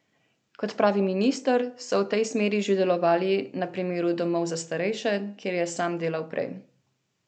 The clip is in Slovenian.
Kot pravi minister, so v tej smeri že delovali na primeru domov za starejše, kjer je sam delal prej.